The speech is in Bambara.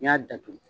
N'i y'a datugu